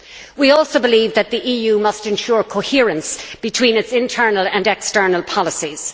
We also believe that the EU must ensure coherence between its internal and external policies.